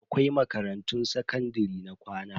Akwai makarantun sakandare na kwana.